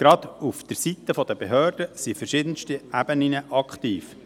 Gerade seitens der Behörden sind verschiedenste Ebenen aktiv.